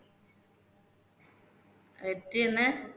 எத்தனை